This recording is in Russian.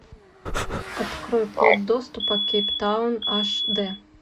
открой код доступа кейптаун аш дэ